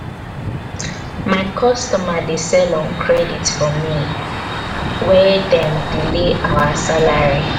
my customer dey sell on credit for me wen dem delay delay our salary.